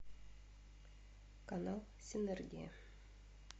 канал синергия